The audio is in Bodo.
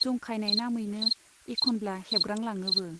जंखायनाय नामैनो एख'नब्ला हेबग्रां लाङोबो।